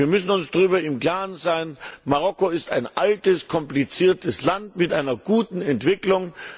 Wir müssen uns darüber im Klaren sein Marokko ist ein altes, kompliziertes Land mit einer guten Entwicklung.